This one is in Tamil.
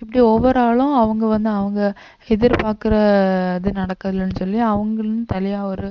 இப்படி ஒவ்வொரு ஆளும் அவங்க வந்து அவங்க எதிர்பார்க்கிற இது நடக்கலன்னு சொல்லி அவங்களும் தனியா ஒரு